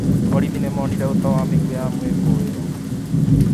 Borithi nĩ monire ũta na mĩguĩ ya mũĩkũĩrwo